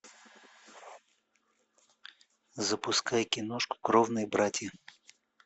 запускай киношку кровные братья